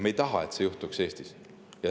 Me ei taha, et see juhtuks Eestis.